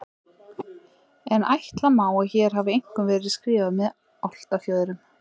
En ætla má að hér hafi einkum verið skrifað með álftafjöðrum.